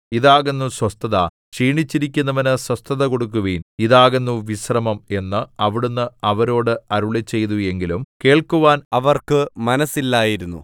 ഇതാകുന്നു സ്വസ്ഥത ക്ഷീണിച്ചിരിക്കുന്നവനു സ്വസ്ഥത കൊടുക്കുവിൻ ഇതാകുന്നു വിശ്രമം എന്ന് അവിടുന്ന് അവരോട് അരുളിച്ചെയ്തു എങ്കിലും കേൾക്കുവാൻ അവർക്ക് മനസ്സില്ലായിരുന്നു